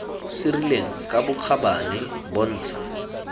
se rileng ka bokgabane bontsha